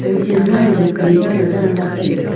kuchan ma chu jok tam cha la danla taga.